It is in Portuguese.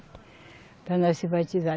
Para nós se batizar.